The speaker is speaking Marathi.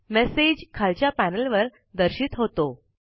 मैसेज खालच्या पैनल वर दर्शित होतो